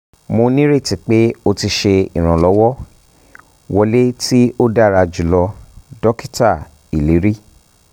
mo nírètí pé ó ti ṣe ìrànlọ́wọ́! wọlé tí ó dára jùlọ dókítà iliri